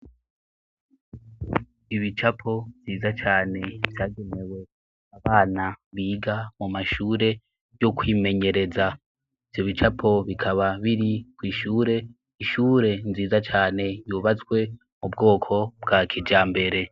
Ibicapo nziza cane vyagemewe abana biga mu mashure yo kwimenyereza ivyo bicapo bikaba biri kw'ishure ishure nziza cane yubatswe mu bwoko bwa kija mbere.